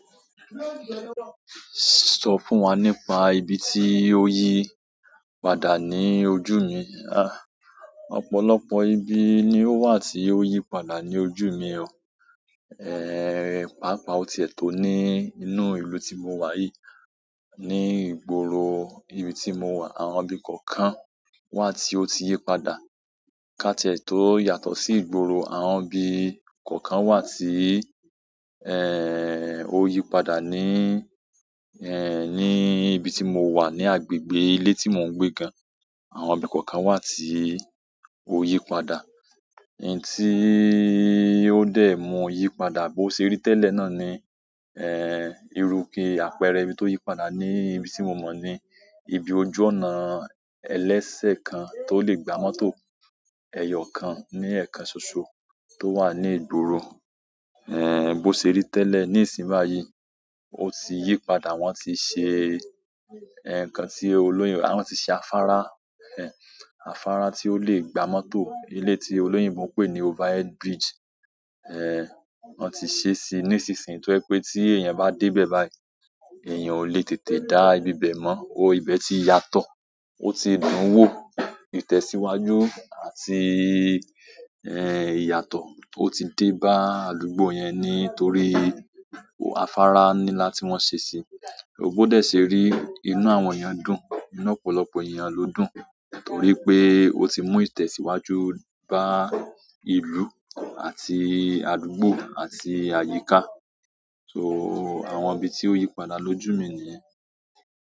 Sọ fún wa nípa ibi tí o yípadà ní ojú mi. À, ọ̀pọ̀lọpọ̀ ibi ni ó wà tí ó yípadà ní ojú mi o. Ehn, pàápàá ó ti è tó ní inú ìlú tí mo wà yìí. Ni ìgboro ibi tí mo wà, àwọn ibi kọ̀ọ̀kan wà tí ó ti yípadà. Kátiẹ́ tó yàtọ̀ sí ìgboro, àwọn ibi kọ̀ọ̀kan wà tí, ehn, ó yípadà ní, ehn, ní ibi tí mo wà ní agbègbè ilé tí mò ń gbé gan, àwọn ibi kọ̀ọ̀kan wà tí ó yípadà. eyì tí ó dẹ̀ mọ yípadà bó ṣe rí tẹ́lẹ̀ náà ni, ehn, ìrú ikè apẹ̀rẹ̀ ibi tó yípadà ní ibi tí mo mọ̀ ni ibi ojú ọnà ẹlẹ́sẹ̀ kan tó lè gba mọ́tò. Ẹ̀yọ̀ kan ní ẹ̀ẹ̀kan soso tó wà ní ìgboro, ehn, bó ṣe rí tẹ́lẹ̀ ní ìsín báyìí, ó ti yípadà. Wọn ti ṣe, ehn, ǹkan tí olóyè wọ́n ti ṣe afárá, ehn, afárá tí ó lè gba mọ́tò. Eleyi tí olóyìnbó pé ni over head bridge, ehn, wọ́n ti ṣé sí i nísinsìnyí tó ẹ pé tí èèyàn bá dé bẹ̀ báyìí, èèyàn ò lè tètè dá ibi ibẹ̀ mọ́. O ibẹ̀ ti yàtọ̀, ó ti dùn wò. Ìtẹ̀síwájú àti, ehn, ìyàtọ̀ ó ti dé bá àdúgbò yẹn nítorí o afárá ní lá tí wọ́n ṣe sì í. Bó dẹ se rí, inú àwọn èyànn dùn. Ìnọ́pọ̀lọpọ̀ èèyàn ló dùn torí pé ó ti mú ìtẹ̀síwájú bá ìlú àti àdúgbò àti àyíká. So àwọn ibi tí ó yípadà lójú mi nìyẹn.